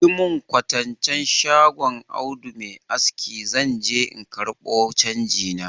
Yi mun kwatancen shagon Audu mai aski zan je in ƙarbo canji na.